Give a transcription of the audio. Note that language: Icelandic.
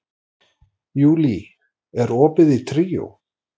Júlí, er opið í Tríó?